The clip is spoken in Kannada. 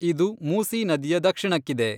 ಇದು ಮೂಸೀ ನದಿಯ ದಕ್ಷಿಣಕ್ಕಿದೆ.